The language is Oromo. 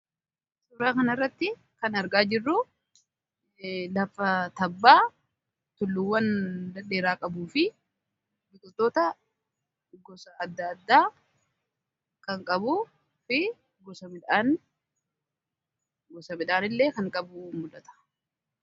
Suuraa kan irratti kan argaa jirru lafa tabbaa tulluwwan ladheeraa qabuu fi biqiltoota gosa adda addaa kan qabu fi gosa midhaan illee kan qabu muldhata.